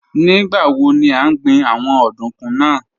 Nigbawo ni a n gbin awọn ọdunkun naa?